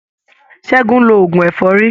Ṣẹ́gun ń lo oògùn ẹ̀fọ́rí.